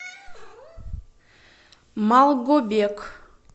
малгобек